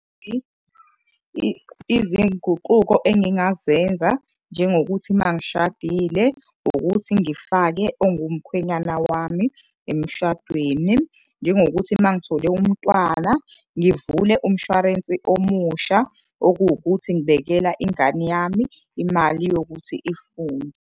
Izinguquko engingazenza njengokuthi mangishadile ukuthi ngifake ongumkhwenyana wami emshadweni, njengokuthi uma ngithole umntwana ngivule umshwarensi omusha okuwukuthi ngibekela ingane yami imali yokuthi ifunde.